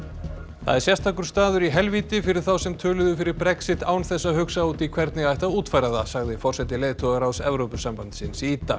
það er sérstakur staður í helvíti fyrir þá sem töluðu fyrir Brexit án þess að hugsa út í hvernig ætti að útfæra það sagði forseti leiðtogaráðs Evrópusambandsins í dag